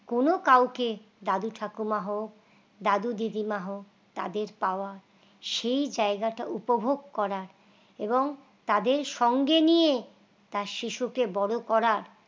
কোন কাউকে দাদা ক্ষমা হোক দাদু দিদিমা হোক তাদের পাওয়া সেই জায়গাটা উপভোগ করা এবং তাদের সঙ্গে নিয়ে তার শিশুকে বড় করা